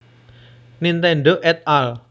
Nintendo et al